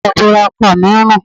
Aṣọ ìbora ọkọ mi ń rùn.